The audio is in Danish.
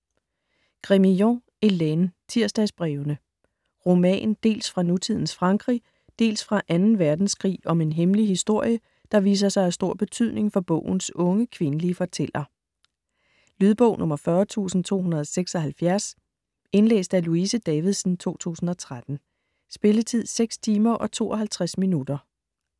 Grémillon, Hélène: Tirsdagsbrevene Roman, dels fra nutidens Frankrig, dels fra 2. verdenskrig om en hemmelig historie, der viser sig af stor betydning for bogens unge kvindelige fortæller. Lydbog 40276 Indlæst af Louise Davidsen, 2013. Spilletid: 6 timer, 52 minutter.